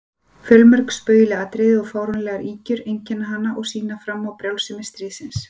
Fjölmörg spaugileg atriði og fáránlegar ýkjur einkenna hana og sýna fram á brjálsemi stríðsins.